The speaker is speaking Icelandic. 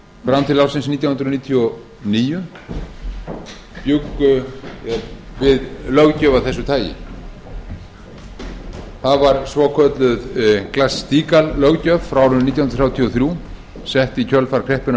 fram til ársins nítján hundruð níutíu og níu bjuggu við löggjöf af þessu tagi það var svokölluð glass steagall löggjöf frá árinu nítján hundruð þrjátíu og þrjú sett í kjölfar kreppunnar